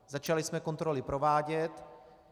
Začali jsme kontroly provádět.